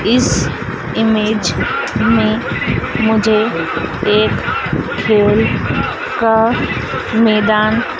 इस इमेज में मुझे एक खेल का मैदान--